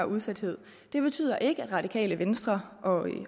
udsathed det betyder ikke at radikale venstre og